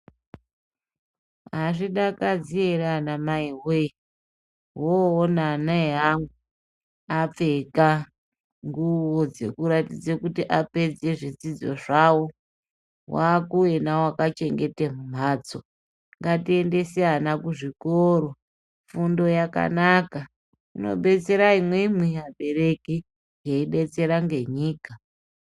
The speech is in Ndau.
Hazvidakadze ere ana mai woye woona ana eyeyamwe apfeka nguwo dzokuratidza kuti apedze zvidzidzo zvawo wakuyena wakachengete mhatso ngatiendese ana kuzvikoro fundo yakanaka inobetsera imwimwi abereki eyibetsera ngenyika.